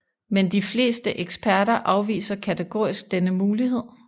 Men de fleste eksperter afviser kategorisk denne mulighed